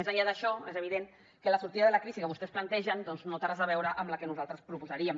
més enllà d’això és evident que la sortida de la crisi que vostès plantegen no té res a veure amb la que nosaltres proposaríem